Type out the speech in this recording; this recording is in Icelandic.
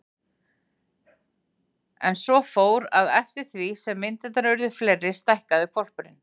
En svo fór, að eftir því sem myndirnar urðu fleiri stækkaði hvolpurinn.